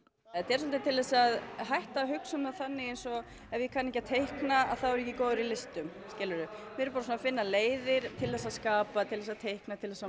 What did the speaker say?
þetta er svolítið til þess að hætta að hugsa um það þannig eins og ef ég kann ekki á teikna þá er ég ekki góður í listum skilurðu við erum bara að finna leiðir til þess að skapa til þess að teikna til þess að